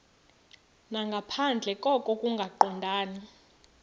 nangaphandle koko kungaqondani